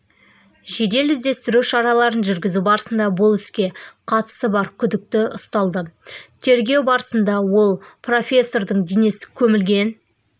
жедел-іздестіру шараларын жүргізу барысында бұл іске қатысы бар күдікті ұсталды тергеу барысында ол профессордың денесі көмілген